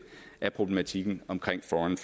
af problematikken omkring foreign